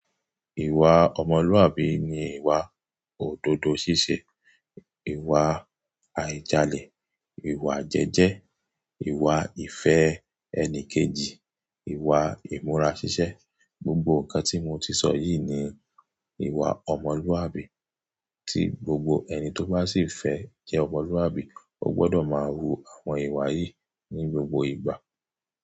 Ìwà ọmọlúàbí ni ìwà òdodo ṣíṣe, ìwà àìjalẹ̀, ìwà jẹ́ẹ́jẹ́, ìwà ìfẹ́ ẹni kejì, ìwà ìmúra ṣíṣẹ́. Gbogbo nǹkan tí mo ti sọ yìí ni ìwà ọmọlúàbí, tí gbogbo ẹni tó bá sì fẹ́ jẹ́ ọmọlúàbí, ó gbọ́dọ̀ máa wu àwọn ìwà yìí ní gbogbo ìgbà.